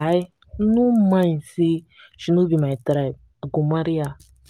i no mind sey she no be my tribe i go marry her.